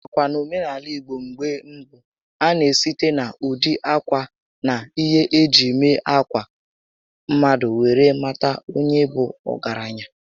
Nakwa, n'omenaala ìgbo mgbé mbụ, a na esite na ụdị ákwà na ihé eji mee ákwà mmadụ were mata onye bụ ọgaranya